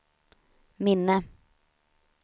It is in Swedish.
minne